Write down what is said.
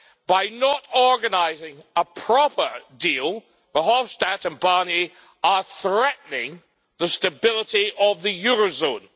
By not organising a proper deal, Verhofstadt and Barnier are threatening the stability of the eurozone.